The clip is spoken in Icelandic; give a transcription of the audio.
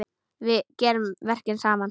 Við gerum verkin saman.